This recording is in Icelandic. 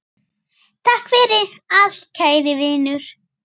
Takk fyrir allt kæri Vinur.